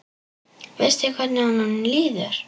Veistu hvernig honum líður?